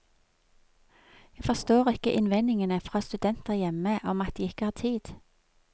Jeg forstår ikke innvendingene fra studenter hjemme om at de ikke har tid.